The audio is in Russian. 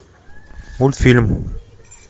мультфильм